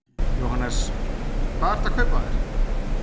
Jóhannes: Hvað ertu að kaupa þér?